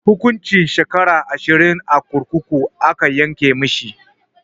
Hukuncin shekara ashirin a kurkuku aka yanke mishi.